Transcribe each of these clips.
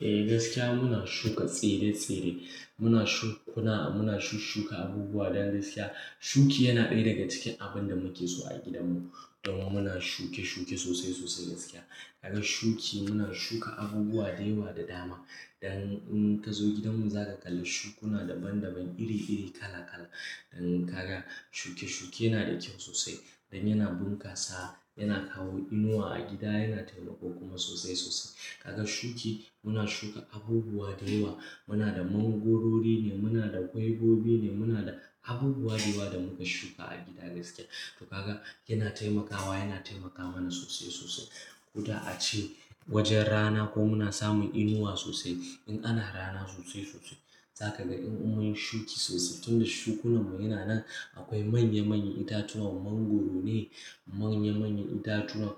Eh gaskiya muna shuka tsire-tsire, muna shukuna, muna shushuka abubuwa don gaskiya shuki yana ɗaya daga cikin abin da muke so a gidanmu. Don muna shuke-shuke sosai sosai gaskiya. Kaga shuki muna shuka abubuwa da yawa da dama. Dan in ka zo gidanmu za ka kalla shukuna daban-daban iri-iri kala-kala. Dan kaga shuke-shuke na da kyau sosai. Dan yana bunkasa, yana kawo inuwa a gida, yana taimako kuma sosai sosai. Kaga shuki muna shuka abubuwa da yawa. Muna da mangorori ne, muna da gwaigobi ne, muna da abubuwa da yawa da muka shuka a gida gaskiya. To kaga yana taimakawa, yana taimaka mana sosai sosai. Ko da a ce wajen rana ko muna samun inuwa sosai. In ana rana sosai sosai. Za ka ga in mun yi shuki sosai tunda shukunan mu yana nan. Akwai manya-manyan itatuwan mangoro ne, manya-manyan itatuwan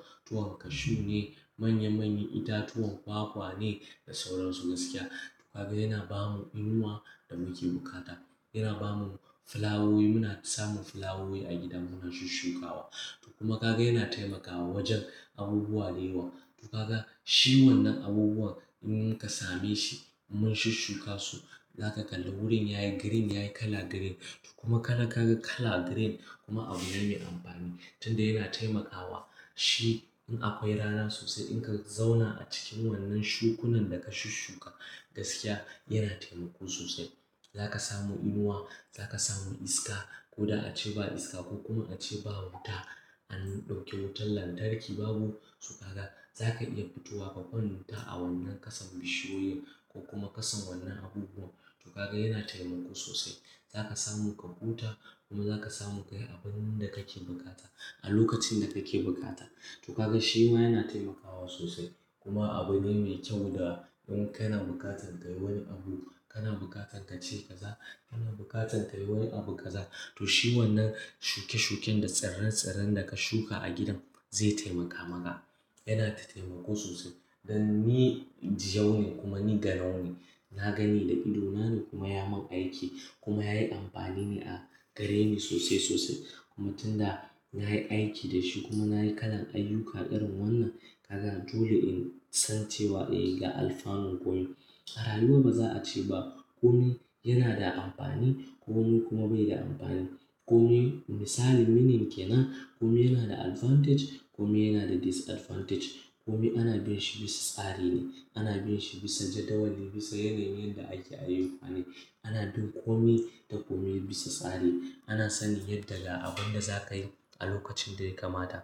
cashew ne, manya-manyan itatuwan kwakwa ne da sauran su gaskiya. To kaga yana ba mu inuwa da muke bukata. Yana ba mu filawowi muna samun filawowi a gidan mu muna shushukawa. To kuma kaga yana taimakawa wajen abubuwa da yawa. To kaga shi wannan abubuwan in muka same shi mun shushuka su, za ka kalla wurin yayi green yayi kala green. To kuma kala kaga kala green kuma abu ne mai amfani. Tun da yana taimakawa shi in akwai rana sosai in ka zauna a cikin wannan shukunin da ka shushuka gaskiya yana taimako sosai. Za ka samu inuwa, za ka samu iska. Ko da a ce ba iska ko kuma a ce ba wuta. An ɗauke wutar lantarki babu. So kaga za ka iya fitowa ka kwanta a wannan kasan bishiyoyin ko kuma kasan wannan abubuwan. To kaga yana taimako sosai. Za ka samu ka huta kuma za ka samu ka yi abun da kake bukata a lokacin da kake bukata. To kagan shi ma yana taimakawa sosai. Kuma abu ne mai kyau. Ko da in kana bukatan ka yi wani abu, kana bukatan ka ce kaza, kana bukatan ka yi wani abu kaza. To shi wannan shuke-shuken da tsiren-tsiren da ka shuka a gidan zai taimaka maka. Yana da taimako sosai. Dan ni injiyau ne kuma ni garau ne. Na gani da idona ne kuma ya mun aiki kuma yayi amfani ne a gareni sosai sosai. Kuma tun da na yi aiki da shi kuma na yi kalan ayyuka irin wannan, kaga dole in san cewa eh ga alfanun komai. A rayuwa ba za a ce ba kome yana da amfani, komai kuma bai da amfani. Komai misali minin kenan. Komai yana da advantage, komai yana da disadvantage. Komai ana bin shi bisa tsari ne. Ana bin shi bisa jadawali, bisa yanayin yan da ake ayyukane. Ana bin komai ta komai bisa tsari. Ana sanin yadda da abun da za ka yi a lokacin da ya kamata.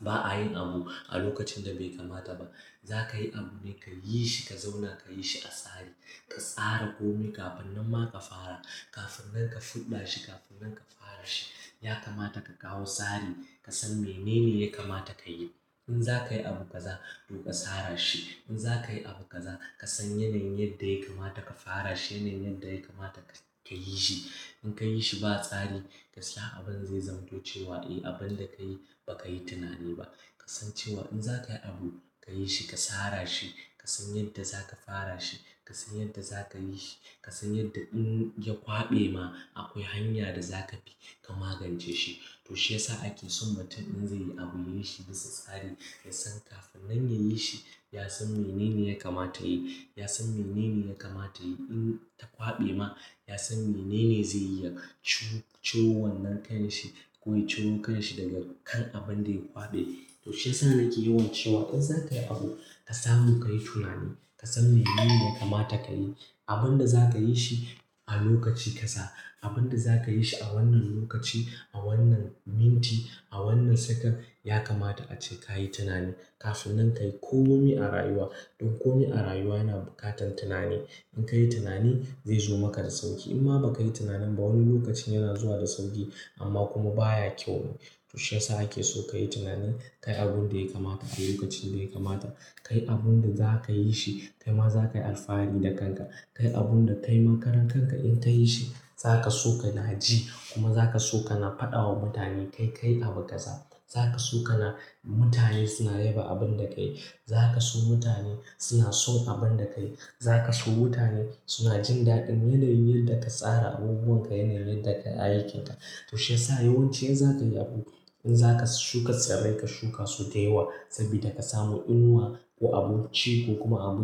Ba a yin abu a lokacin da bai kamata ba. Za ka yi abu ne ka yi shi ka zauna ka yi shi a tsari. Ka tsara komai kafin nan ma ka fara. Kafin nan ka fuɗa shi kafin nan ka fara shi. Ya kamata ka kawo tsari. Ka san menene ya kamata ka yi. In za ka yi abu kaza to ka tsara shi. In za ka yi abu kaza ka san yanayin yadda ya kamata ka fara shi, yanayin yadda ya kamata ka yi shi. In ka yi shi ba tsari gaskiya abin zai zamantocewa eh abun da ka yi ba ka yi tunani ba. Ka san cewa in za ka yi abu ka yi shi ka tsara shi. Ka san yadda za ka fara shi. Ka san yadda za ka yi shi. Ka san yadda in ya kwaɓe ma akwai hanya da za ka bi ka magance shi. To shi yasa ake son mutum in zai yi abu ya yi shi bisa tsari. Ya san kafin nan ya yi shi, ya san menene ya kamata ya yi. Ya san menene ya kamata ya yi in ta kwaɓe ma. Ya san menene zai iya ci-ciro wannan ƙan shi ko ya ciro ƙan shi daga kan abun da ya kwaɓe. To shi yasa nake yawan cewa in za ka yi abu ka samu ka yi tunani. Ka san menene ya kamata ka yi. Abun da za ka yi shi a lokaci kaza. Abun da za ka yi shi a wannan lokaci, a wannan minti, a wannan second ya kamata a ce ka yi tunani kafin nan ka yi komai a rayuwa. Don kome a rayuwa na bukatan tunani. In ka yi tunani zai zo maka da sauƙi. In ma ba ka yi tunanin ba wani lokacin yana zuwa da sauƙi amma kuma baya kyau ne. To shi yasa ake so ka yi tunani. Ka yi abun da ya kamata a lokacin da ya kamata. Ka yi abun da za ka yi shi. Kai ma za ka yi alfahari da kanka. Ka yi abun da kai ma karar kanka in ka yi shi. Za ka so ka na ji kuma za ka so ka na faɗawa mutane kai kayi abu kaza. Za ka so ka na mutane suna yaba abun da ka yi. Za ka so mutane suna son abun da ka yi. Za ka so mutane suna jin daɗin yanayin yadda ka tsara abubuwan ka, yanayin yadda ka yi aikin ka. To shi yasa yawanci in za ka yi abu, in za ka shuka tsire ka shuka su da yawa saboda ka samu inuwa ko abun ci ko kuma abu-